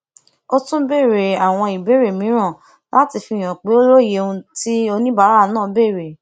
ó tún béèrè àwọn ìbéèrè mìíràn láti fihàn pé ó lóye ohun tí oníbàárà náà béèrè